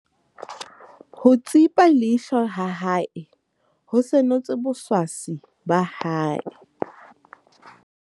ho tsipa leihlo ha hae ho senotse boswaswi ba hae